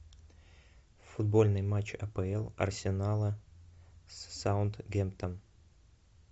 футбольный матч апл арсенала с саутгемптон